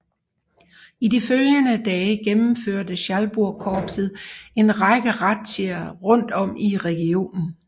I de følgende dage gennemførte Schalburgkorpset en række razziaer rundt om i regionen